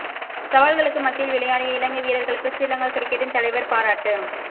சவால்களுக்கு மத்தியில் விளையாடிய இலங்கை வீரர்களுக்கு ஸ்ரீலங்கா கிரிக்கெட்டின் தலைவர் பாராட்டு